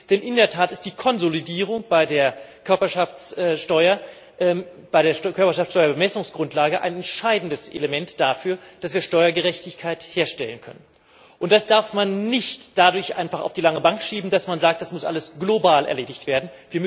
Denn in der Tat ist die Konsolidierung bei der Körperschaftssteuer Bemessungsgrundlage ein entscheidendes Element dafür, dass wir Steuergerechtigkeit herstellen können. Das darf man nicht einfach dadurch auf die lange Bank schieben, dass man sagt Das muss alles global erledigt werden.